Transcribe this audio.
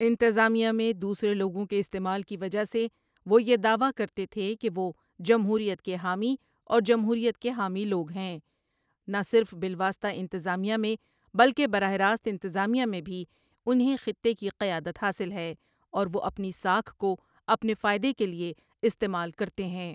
انتظامیہ میں دوسرے لوگوں کے استعمال کی وجہ سے وہ یہ دعوی کرتے تھے کہ وہ جمہوریت کے حامی اور جمہوریت کے حامی لوگ ہیں نہ صرف بالواسطہ انتظامیہ میں بلکہ براہ راست انتظامیہ میں بھی انہیں خطے کی قیادت حاصل ہے اور وہ اپنی ساکھ کو اپنے فائدے کے لئے استعمال کرتے ہیں۔